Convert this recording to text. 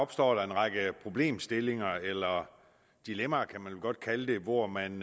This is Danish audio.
opstår der en række problemstillinger eller dilemmaer kan man vel godt kalde det hvor man